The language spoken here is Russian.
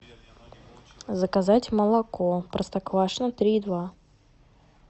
заказать молоко простоквашино три и два